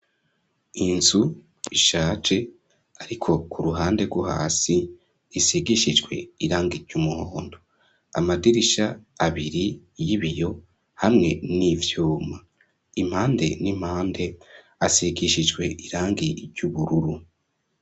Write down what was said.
Inzu ishaje ariko ku ruhande rwo hasi isigishijwe irangi ry'umuhondo, amadirisha abiri y'ibiyo hamwe n'ivyuma, impande n'impande asigishijwe irangi ry'ubururu.